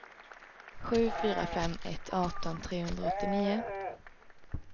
sju fyra fem ett arton trehundraåttionio